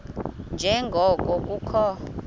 nje ngoko kukho